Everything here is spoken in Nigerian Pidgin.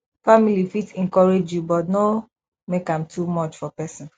family fit encourage you but no make am too much for person